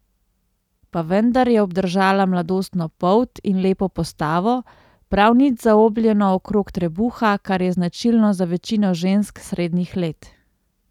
Pa vendar je obdržala mladostno polt in lepo postavo, prav nič zaobljeno okrog trebuha, kar je značilno za večino žensk srednjih let.